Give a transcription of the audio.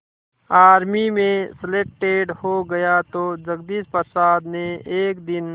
army में selected हो गया तो जगदीश प्रसाद ने एक दिन